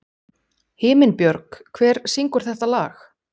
Himinbjörg, hver syngur þetta lag?